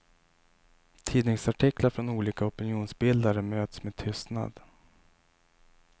Tidningsartiklar från olika opinionsbildare möts med tystnad.